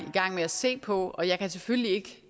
i gang med at se på og jeg kan selvfølgelig